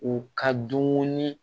U ka dumuni